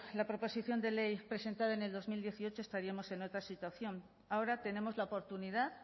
la proposición de ley presentada en el dos mil dieciocho estaríamos en otra situación ahora tenemos la oportunidad